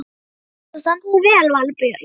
Þú stendur þig vel, Valborg!